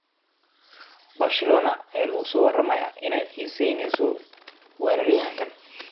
Barcelona ayaa lagu soo waramayaa inay xiiseyneyso weeraryahanka.